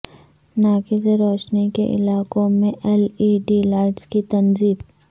ناقص روشنی کے علاقوں میں ایل ای ڈی لائٹس کی تنصیب